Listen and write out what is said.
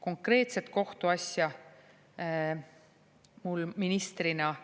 Konkreetsesse kohtuasja ma ministrina